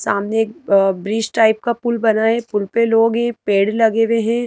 सामने अह bridge type का पुल बना है पुल पे लोग हैं पेड़ लगे हुए हैं।